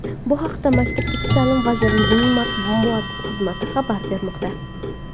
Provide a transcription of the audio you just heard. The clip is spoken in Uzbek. Bu haqda Maktabgacha ta’lim vazirligining matbuot xizmati xabar bermoqda .